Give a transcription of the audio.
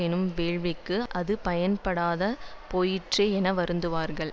எனும் வேள்விக்கு அது பயன்படுத்தப்படாமற் போயிற்றே என வருந்துவார்கள்